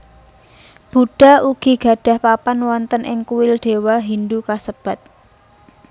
Buddha ugi gadhah papan wonten ing kuil dewa Hindu kassebat